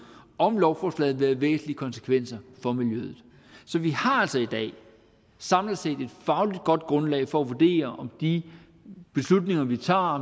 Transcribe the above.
om lovforslaget vil have væsentlige konsekvenser for miljøet så vi har altså i dag samlet set et fagligt godt grundlag for at vurdere om de beslutninger vi tager